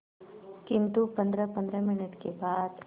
किंतु पंद्रहपंद्रह मिनट के बाद